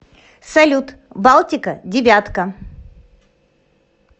салют балтика девятка